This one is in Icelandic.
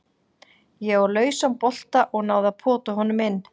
Ég sá lausan bolta og náði að pota honum inn.